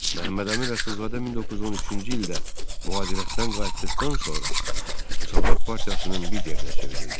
Məmmədəmin Rəsulzadə 1913-cü ildə mühacirətdən qayıtdıqdan sonra Müsavat partiyasının liderinə çevrildi.